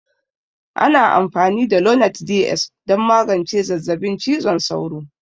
Ana amfani da lonart Ds don magance zazzabin cizon sauro.